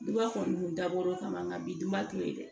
Duba kɔni dabɔra kama nka bi duba to yen dɛ